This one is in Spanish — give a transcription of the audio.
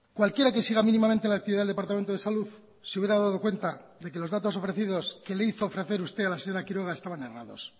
cualquiera que siga mínimamente la actividad del departamento de salud se hubiera dado cuenta de que los datos ofrecidos que le hizo ofrecer usted a la señora quiroga estaban errados